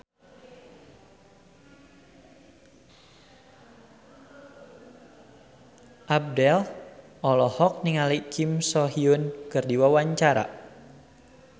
Abdel olohok ningali Kim So Hyun keur diwawancara